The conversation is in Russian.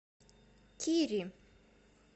кири